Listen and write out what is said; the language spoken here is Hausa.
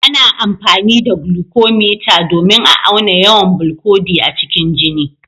Ana amfani da glucometer domin a auna yawan bilcodi a cikin jini.